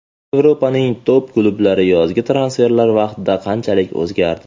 Yevropaning top-klublari yozgi transferlar vaqtida qanchalik o‘zgardi?.